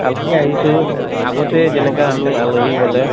আহিছো আগতে যেনেকা আমি আলহী গʼলে